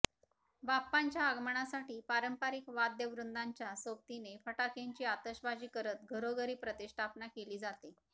बाप्पांच्या आगमनासाठी पारंपरिक वाद्यवृंदाच्या सोबतीने फटाक्यांची आतषबाजी करत घरोघरी प्रतिष्ठापना केली जाते